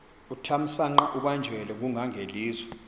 uthamsanqa ubanjelwe ngungangelizwe